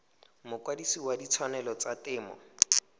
mokwadise wa ditshwanelo tsa temo